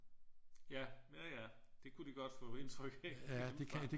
Ja ja ja det kunne de godt få indtryk hjemmefra